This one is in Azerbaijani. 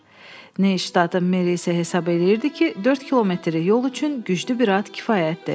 Neystadın merisi isə hesab edirdi ki, 4 kilometrlik yol üçün güclü bir at kifayətdir.